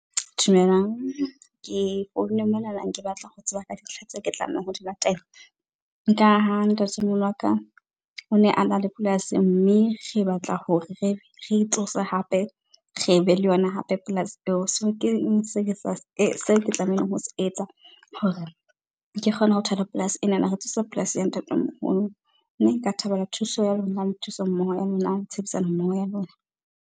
Dumelang, ke founa mona nang ke batla ho tseba ka dintlha tse ke tlamehang ho di latela, nka ha ntatemoholo wa ka o ne a na le polasi mme re batla hore re e tsose hape re be le yona hape polasi eo. So keng se , seke tlamehileng ho se etsa hore ke kgone ho thola polasi enana, ho tsosa polasi ya ntatemoholo. Mme nka thabela thuso ya lona, le thuso mmoho ya lona, le tshebedisano mmoho ya lona.